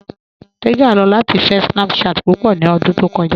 Tẹ́gà lọ latí fẹ̀ Snapchat púpọ̀ ní òdún tó kọja.